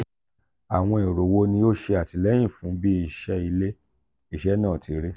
awọn ero wo ni o ṣe atilẹyin fun bi iṣẹ ile-iṣẹ naa ti ri?